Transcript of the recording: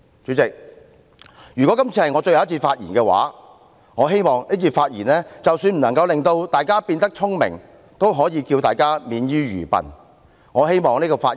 "主席，如果這次是我最後一次發言，我希望這次發言即使不能令大家變得聰明，也可以令大家免於愚笨。